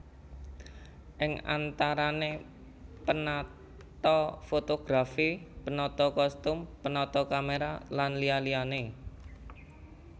Ing antarané penata fotografi penata kostum penata kamera lan liya liyané